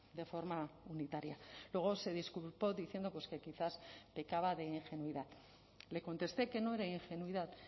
de forma unitaria luego se disculpó diciendo pues que quizás pecaba de ingenuidad le contesté que no era ingenuidad